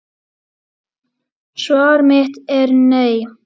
Svar mitt er nei.